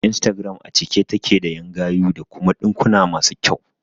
Instagram a cike take da ƴan gayu da kuma ɗinkuna masu kyau